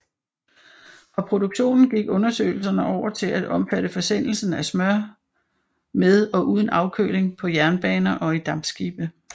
Fra produktionen gik undersøgelserne over til at omfatte forsendelsen af smør med og uden afkøling på jernbaner og i dampskibe